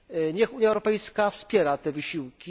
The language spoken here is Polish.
Niech Unia Europejska wspiera te wysiłki.